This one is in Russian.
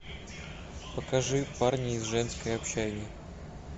покажи парни из женской общаги